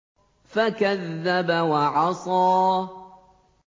فَكَذَّبَ وَعَصَىٰ